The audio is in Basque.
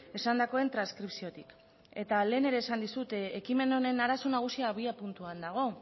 esandakoen transkripziotik eta lehen ere esan dizut ekimen honen arazo nagusia abiapuntuan dago